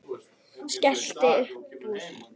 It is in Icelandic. Skellti upp úr.